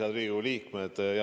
Head Riigikogu liikmed!